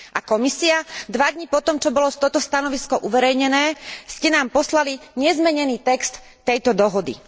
A Komisia? Dva dni po tom, čo bolo toto stanovisko uverejnené, ste nám poslali nezmenený text tejto dohody.